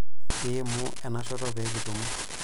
Iimu enashoto pee kitumo.